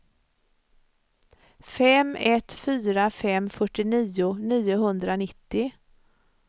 fem ett fyra fem fyrtionio niohundranittio